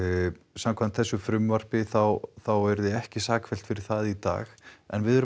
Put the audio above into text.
samkvæmt þessu frumvarpi þá þá yrði ekki sakfellt fyrir það í dag en við erum